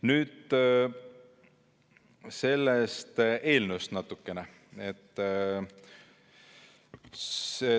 Nüüd natukene sellest eelnõust.